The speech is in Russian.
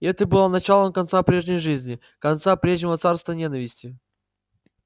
и это было началом конца прежней жизни конца прежнего царства ненависти